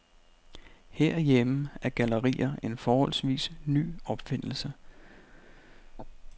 Herhjemme er gallerier en forholdsvis ny opfindelse.